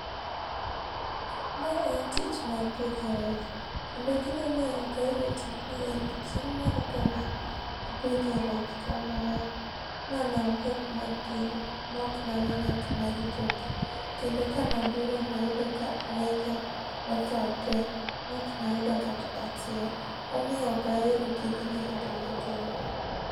Ma en tich mar pidho rech kendo gima omiyo ok ahero tijni en ni chieng moro kane apidho rech kamae mane awuok matin maok nawe ngat marito gi kendo kane aduogo nayudo ka reja otho tee maok nayudo kata achiel momiyo ok ahero tijni kata matin